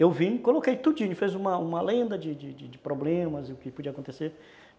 Eu vim, coloquei tudinho, fez uma uma lenda de de problemas e o que podia acontecer.